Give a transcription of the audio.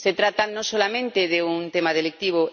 Se trata no solamente de un tema delictivo